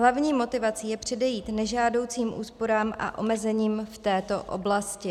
Hlavní motivací je předejít nežádoucím úsporám a omezením v této oblasti.